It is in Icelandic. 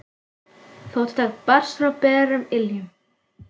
Fótatak barst frá berum iljum.